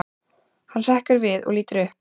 Hann hrekkur við og lítur upp.